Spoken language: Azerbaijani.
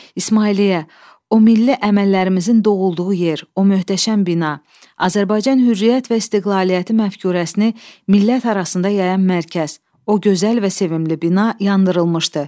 İsmailliyə, o milli əməllərimizin doğulduğu yer, o möhtəşəm bina, Azərbaycan hürriyyət və istiqlaliyyəti məfkurəsini millət arasında yayan mərkəz, o gözəl və sevimli bina yandırılmışdı.